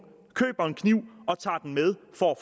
køber en kniv og tager den med for